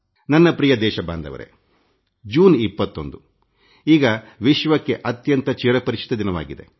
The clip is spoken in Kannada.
ನನ್ನ ನಲ್ಮೆಯ ದೇಶವಾಸಿಗಳೇ ಜೂನ್ 21ಈಗ ವಿಶ್ವಕ್ಕೆ ಅತ್ಯಂತ ಚಿರಪರಿಚಿತ ದಿನವಾಗಿದೆ